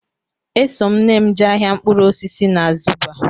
Eso m nne m jee ahịa mkpụrụ osisi na Zuba